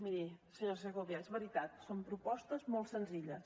miri senyora segovia és veritat són propostes molt senzilles